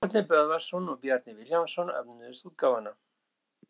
Árni Böðvarsson og Bjarni Vilhjálmsson önnuðust útgáfuna.